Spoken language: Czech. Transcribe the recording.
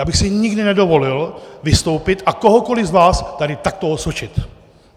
Já bych si nikdy nedovolil vystoupit a kohokoliv z vás tady takto osočit!